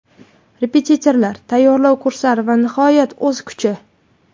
Repetitorlar, tayyorlov kurslari va nihoyat o‘z kuchi.